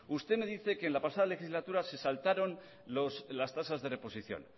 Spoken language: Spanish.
usted me dice que en la pasada legislatura se saltaron las tasas de reposición